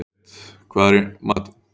Grét, hvað er í matinn?